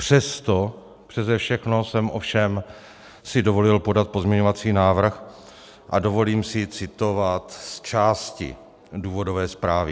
Přesto přese všechno jsem si ovšem dovolil podat pozměňovací návrh a dovolím si citovat z části důvodové zprávy.